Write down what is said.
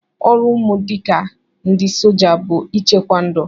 Ọrụ unu dịka ndị soja bụ ịchekwa ndụ!